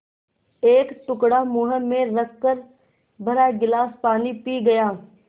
एक टुकड़ा मुँह में रखकर भरा गिलास पानी पी गया